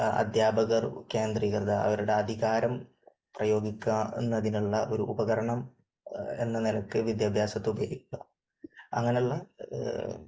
അധ്യാപകർ കേന്ദ്രീകൃത അവരുടെ അധികാരം പ്രയോഗിക്കുന്നതിനുള്ള ഒരു ഉപകരണം എന്ന നിലയ്ക്ക് വിദ്യാഭ്യാസത്തെ ഉപയോഗിക്കുക അങ്ങനെയുള്ള